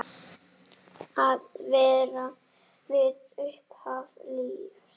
Að vera við upphaf lífs.